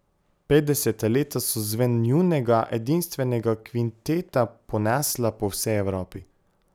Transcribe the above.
Petdeseta leta so zven njunega edinstvenega kvinteta ponesla po vsej Evropi.